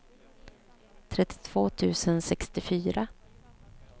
trettiotvå tusen sextiofyra